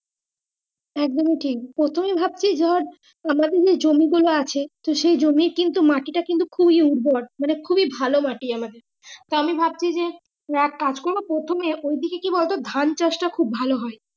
একদমই টিক প্রথমে ভাবছি যার আমাদের যে জমি গুলো আছে সেই জমি কিন্তু মাটি টা কিন্তু খুবই উর্বর মানে খুবই ভালো মাটি আমাদের তা আমি ভাবছি যে এক কাজ করা প্রথম এ ওই দিকে কি বলতো ধানচাষ টা খুব ভালো হয়।